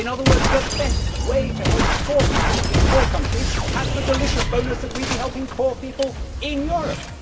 In other words, the best way to help poor people in poor countries has the delicious bonus of helping poor people in Europe.